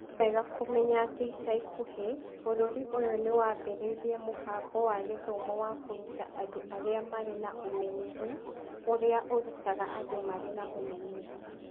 Nĩ wega kũmenya atĩ ica ikuhĩ, bũrũri ũyũ nĩ wambĩrĩirie mũbango wa gĩthomo wa kũruta andũ arĩa marĩ na ũmenyeru ũrĩa ũrutaga andũ marĩ na ũmenyeru.